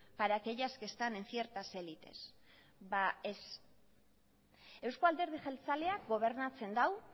para aquellas que están en ciertas élites ba ez euzko alderdi jeltzaleak gobernatzen dau